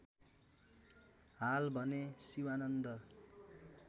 हाल भने शिवानन्द